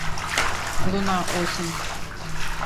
луна осень